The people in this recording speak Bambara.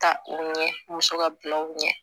Ta u ɲɛ muso ka bilaw ɲɛ